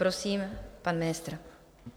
Prosím pana ministra.